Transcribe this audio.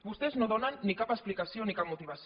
vostès no donen ni cap explicació ni cap motivació